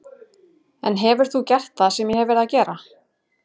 En hefur þú gert það sem ég hef verið að gera?